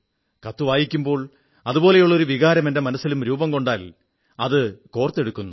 കത്തു വായിക്കുമ്പോൾ അതുപോലുള്ള ഒരു വികാരം എന്റെ മനസ്സിലും രൂപം കൊണ്ടാൽ അത് കോർത്തെടുക്കുന്നു